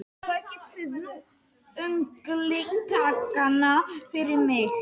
Sækið þið nú unglingana fyrir mig!